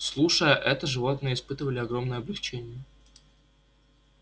слушая это животные испытывали огромное облегчение